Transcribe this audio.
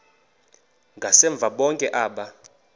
ngasemva bonke aba